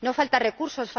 No faltan recursos.